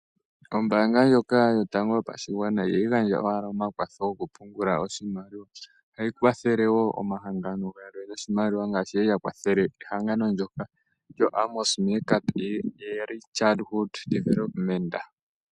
Ombaanga yotango yopashigwana ihayi gandja owala omakwatho gokupungula oshimaliwa ihe ohayi gandja omakwatho goshimaliwa ngaashi yali ya gandja ekwatho lyoshimaliwa kehangano ndyono lyoAmos Meerkat early Childhood Development.